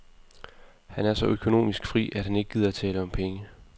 Han er så økonomisk fri, at han ikke gider tale om penge.